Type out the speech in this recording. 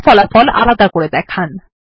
দুটি ফলাফল আলাদা করে দেখান